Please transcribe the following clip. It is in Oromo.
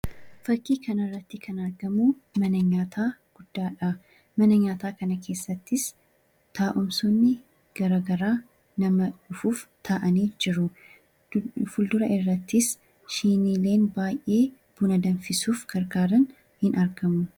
Fakkii kanarratti kan argamu mana nyaataa guddaadha. Mana nyaataa kana keessattis taa'umsoonni garaagaraa nama dhufuuf taa'anii jiru. Fuuldura irrattis siiniiwwan baay'een buna danfisuuf gargaaran ni argamu.